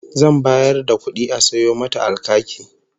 Zan bayar da kudi a sayo mata alkaki